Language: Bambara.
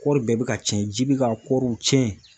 Kɔri bɛɛ bi ka cɛn ji bi ka kɔriw cɛn